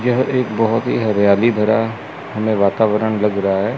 यह एक बहोत ही हरियाली भरा हमे वातावरण लग रहा है।